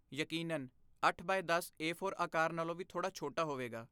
ਯਕੀਨਨ, ਅੱਠ ਬਾਏ ਦਸ ਏ ਫੋਰ ਆਕਾਰ ਨਾਲੋਂ ਵੀ ਥੋੜ੍ਹਾ ਛੋਟਾ ਹੋਵੇਗਾ